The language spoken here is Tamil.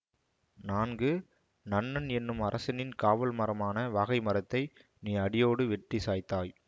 நான்கு நன்னன் என்னும் அரசனின் காவல்மரமான வகைமரத்தை நீ அடியோடு வெட்டி சாய்த்தாய்